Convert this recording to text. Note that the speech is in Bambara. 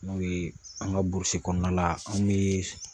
N'o ye an ka burusi kɔnɔna la an bɛ